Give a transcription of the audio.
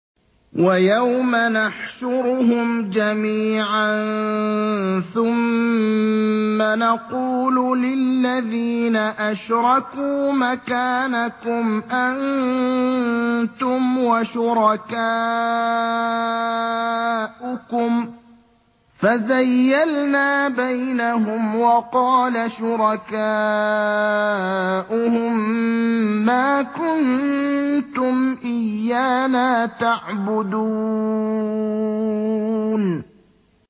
وَيَوْمَ نَحْشُرُهُمْ جَمِيعًا ثُمَّ نَقُولُ لِلَّذِينَ أَشْرَكُوا مَكَانَكُمْ أَنتُمْ وَشُرَكَاؤُكُمْ ۚ فَزَيَّلْنَا بَيْنَهُمْ ۖ وَقَالَ شُرَكَاؤُهُم مَّا كُنتُمْ إِيَّانَا تَعْبُدُونَ